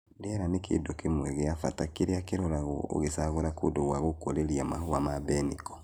Rĩera nĩ kĩndũ kĩmwe gĩa bata kĩrĩa kĩroragwo ũgĩcagũra kũndũ gwa gũkũrĩria Mahũa ma mbeniko .